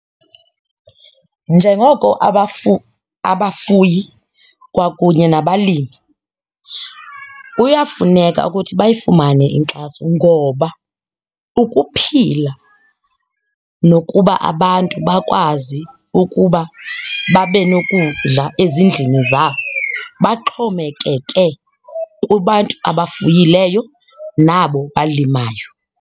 Njengoko abafuyi kwakunye nabalimi kuyafuneka ukuthi bayifumane inkxaso ngoba ukuphila nokuba abantu bakwazi ukuba babe nokudla ezindlini zabo baxhomekeke kubantu abafuyileyo nabo balimayo.